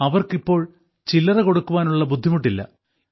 അവർക്കിപ്പോൾ ചില്ലറ കൊടുക്കുവാനുള്ള ബുദ്ധിമുട്ടില്ല